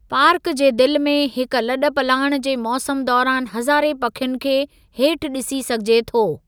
Park जे दिलि में हिक लॾ पलाण जे मौसमु दौरानि हज़ारें पखियुनि खे हेठि ॾिसी सघिजे थो।